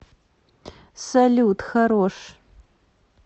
салют хорош